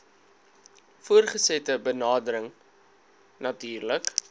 voortgesette berading natuurlik